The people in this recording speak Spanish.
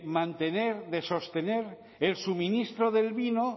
mantener de sostener el suministro del vino